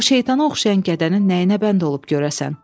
O şeytana oxşayan gədənin nəyinə bənd olub görəsən?